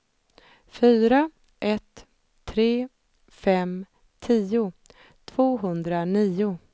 fyra ett tre fem tio tvåhundranio